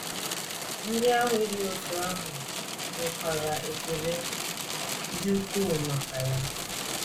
Ndị ahụ e dị otú ahụ nwekwara ekele dị ukwuu maka ya.